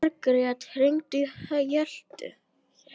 Margret, hringdu í Hjöltu.